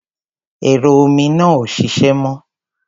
Ẹ̀rọ omi náà ò ṣiṣẹ́ mọ́.